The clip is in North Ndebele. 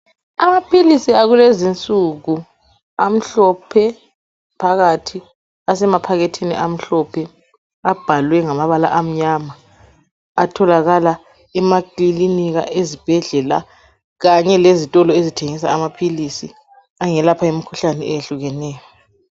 Amaphilisi akulezinsuku, amhlophe ,phakathi asemaphakethini amhlophe abhalwe ngamabala amnyama atholakala emakilinika, ezibhedlela kanye lezitolo ezithengisa amaphilisi angelapha imikhuhlane eyehlukeneyo